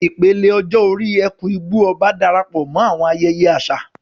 Ìpele ọjọ́ orí "Eku-Igbo-Oba" Darapọ̀ mọ́ àwọn ayẹyẹ àṣà